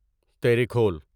تیریکھول